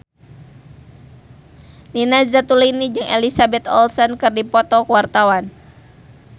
Nina Zatulini jeung Elizabeth Olsen keur dipoto ku wartawan